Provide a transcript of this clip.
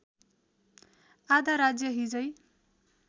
आधा राज्य हिजै